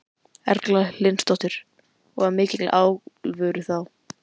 Erla Hlynsdóttir: Og af mikilli alvöru þá?